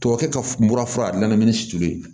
Tubabu kɛ ka n furaminini sulu ye